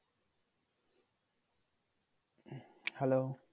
hello"